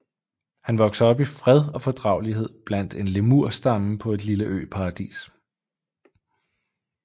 Han vokser op i fred og fordragelighed blandt en lemurstamme på et lille øparadis